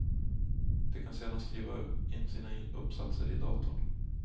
De kan sedan skriva in sina uppsatser i datorn.